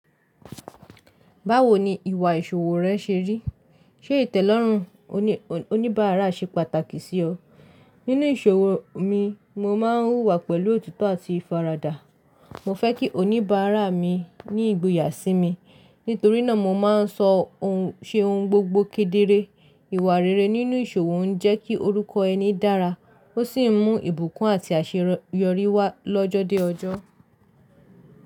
Báwo ni ìwà ìṣòwò rẹ ṣe rí? Ṣé ìtẹ̀lọ́rùn oníbàárà ṣe pàtàkì sí ọ? Nínú ìṣòwò mi, mo máa ń wùwà pẹ̀lú òtito àti ìfaradà. Mo fẹ́ kí oníbàárà mi ní ìgboyà sí mi, nítorí náà mo máa ń ṣe ohùn gbogbo kedere. Ìwà rere nínú ìṣòwò ń jẹ́ kí orúkọ ẹni dára, ó sì ń mú ìbùkún àti àṣeyọrí wá lọ́jọ́ dé ọjọ́.